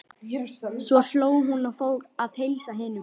Svo hló hún og fór að heilsa hinum.